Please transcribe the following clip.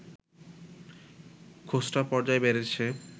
খুচরা পর্যায়ে বেড়েছে